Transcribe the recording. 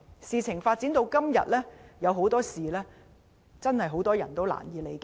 事件發展至今，有很多事情真的難以理解。